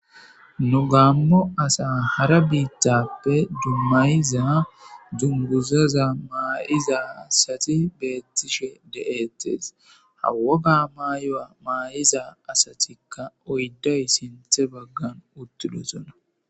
Nu gaammo asa hara biittappe dummayiza dunguzaza maayiza sati beettishe de7ettees hawoga maayoa maay'iza asatikka oydday sinthe baggan uttidosona.